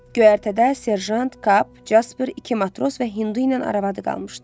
Göyərtədə serjant, kap, Casper, iki matros və Hindu ilə arvadı qalmışdı.